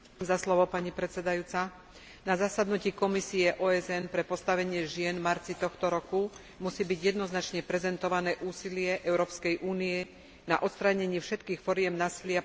Na zasadnutí Komisie OSN pre postavenie žien v marci tohto roku musí byť jednoznačne prezentované úsilie Európskej únie na odstránení všetkých foriem násilia páchaného na ženách a dievčatách.